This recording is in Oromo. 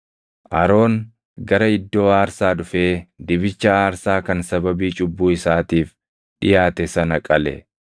Aroon gara iddoo aarsaa dhufee dibicha aarsaa kan sababii cubbuu isaatiif dhiʼaate sana qale.